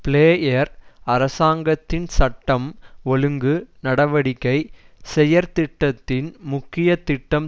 player அரசாங்கத்தின் சட்டம் ஓழுங்கு நடவடிக்கை செயற்திட்டத்தின் முக்கிய திட்டம்